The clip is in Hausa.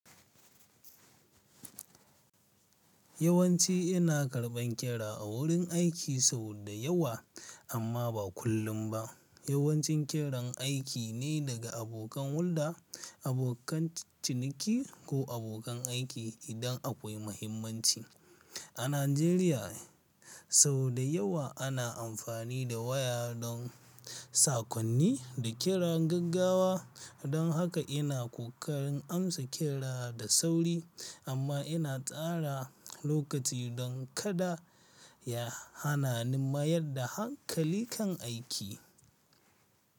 Yawanci ina karɓan kira a wurin aiki sau da yawa amma ba kullum ba. Yawancin kiran aiki ne daga abokan hulɗa, abokan ciniki ko abokan aiki idan akwai mahimmanci. A Najeriya sau da yawa ana amfani da waya don sakonni da kira gaggawa, don haka ina ƙoƙarin amsa kira da sauri amma ina tsara lokaci don kada ya hana ni mayar da hankali kan aiki.